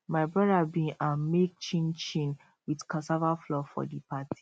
my brother bin um make chin chin with cassava flour for di party